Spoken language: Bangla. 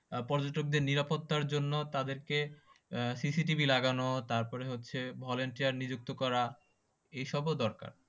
পর্যটকদের নিরাপত্তার জন্য তাদেরকে CCTV লাগানো তারপরে হচ্ছে volunteer নিযুক্ত করা, এইসবও দরকার।